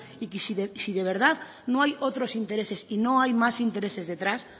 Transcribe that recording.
y que si de verdad no hay otros intereses y no hay más intereses detrás